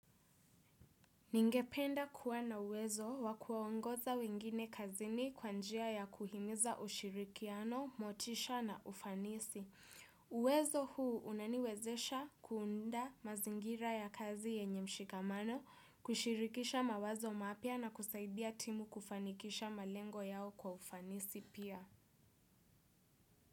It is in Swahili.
Ningependa kuwa na uwezo wa kuwaongoza wengine kazini kwa njia ya kuhimiza ushirikiano, motisha na ufanisi. Uwezo huu unaniwezesha kuunda mazingira ya kazi yenye mshikamano, kushirikisha mawazo mapya na kusaidia timu kufanikisha malengo yao kwa ufanisi pia.